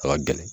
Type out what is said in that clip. A ka gɛlɛn